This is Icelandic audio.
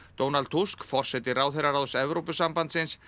Donald Tusk forseti ráðherraráðs Evrópusambandsins